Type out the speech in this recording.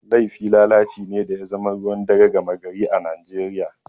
Laifi lalaci ne da ya zama ruwan dare gama gari a Najeriya.